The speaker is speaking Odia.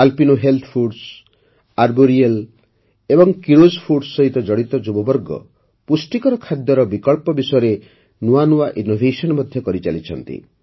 ଆଲ୍ପିନୋ ହେଲ୍ଥ ଫୁଡ୍ସ ଆର୍ବୋରିଆଲ ଏବଂ କିରୋଜ୍ ଫୁଡ୍ସ ସହିତ ଜଡ଼ିତ ଯୁବବର୍ଗ ପୁଷ୍ଟିକର ଖାଦ୍ୟର ବିକଳ୍ପ ବିଷୟରେ ନୂଆ ନୂଆ ଇନ୍ନୋଭେଶନ୍ ମଧ୍ୟ କରିଚାଲିଛନ୍ତି